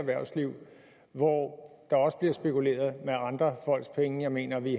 erhvervsliv hvor der også bliver spekuleret med andre folks penge jeg mener at vi